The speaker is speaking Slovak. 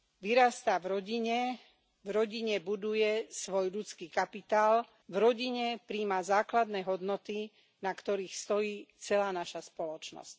Vyrastá v rodine, v rodine buduje svoj ľudský kapitál, v rodine prijíma základné hodnoty, na ktorých stojí celá naša spoločnosť.